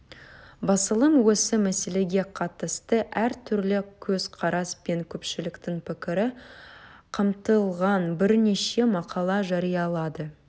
басылым осы мәселеге қатысты әртүрлі көзқарас пен көпшіліктің пікірі қамтылған бірнеше мақала жариялады